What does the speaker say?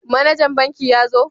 Manajan banki ya zo?